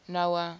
noah